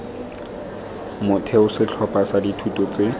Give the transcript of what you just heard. motheo setlhopha sa dithuto tse